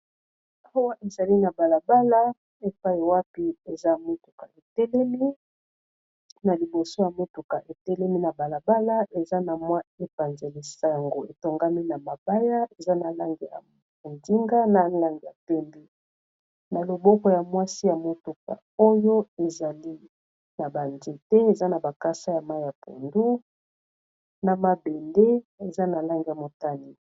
Awa ezali na balabala epai ewapi eza motuka etelemi na liboso ya motuka etelemi na balabala eza na mwa epanzelisa yango etongami na mabaya eza na lange ya ondinga, na lange ya pendi na loboko ya mwasi ya motuka oyo ezali na banzete eza na bakasa ya mai ya pundu, na mabende eza na lange ya motani.